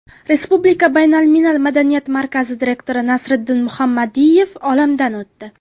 Respublika baynalmilal madaniyat markazi direktori Nasriddin Muhammadiyev olamdan o‘tdi.